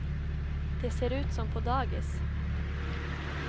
Det ser ut som på dagis.